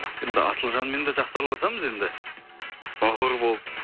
енді асылжанмен де жақсы араласамыз енді бауыр болып